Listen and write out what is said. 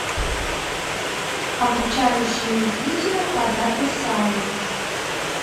обучающее видео по дата сайнс